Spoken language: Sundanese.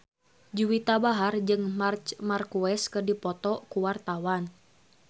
Juwita Bahar jeung Marc Marquez keur dipoto ku wartawan